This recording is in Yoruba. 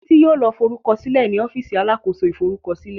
Titi yóò ló forukọsilẹ ní ọ́fíìsì alákóso ìforúkọsílẹ.